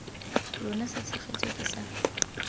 lona sa tshegetso ke sa